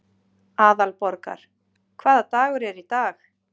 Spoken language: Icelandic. Aðalborgar, hvaða dagur er í dag?